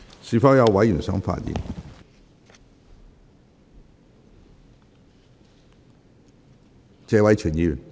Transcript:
是否有委員想發言？